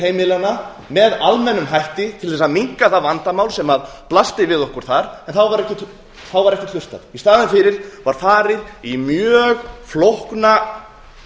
heimilanna með almennum hætti til þess að minnka það vandamál sem blasti við okkur þar en þá var ekkert hlustað í staðinn fyrir var farið í mjög flókna